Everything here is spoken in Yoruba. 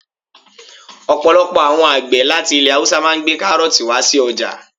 Ọ̀pọ̀lọpọ̀ àwọn àgbẹ̀ láti ilẹ̀ haúsá máà ń gbé kárọ̀ọ̀tì wá sí ọjà